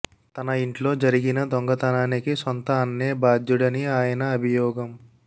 తన ఇంట్లో జరిగిన దొంగతనానికి సొంత అన్నే బాధ్యుడని ఆయన అభియోగం